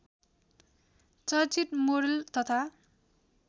चर्चित मोडल तथा